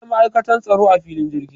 Akwai ma'aikatan tsaro a filin jirgi